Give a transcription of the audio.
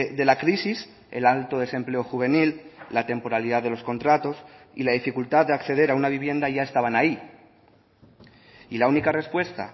de la crisis el alto desempleo juvenil la temporalidad de los contratos y la dificultad de acceder a una vivienda ya estaban ahí y la única respuesta